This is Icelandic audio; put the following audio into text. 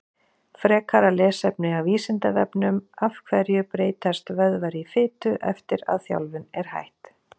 Frekara lesefni á Vísindavefnum Af hverju breytast vöðvar í fitu eftir að þjálfun er hætt?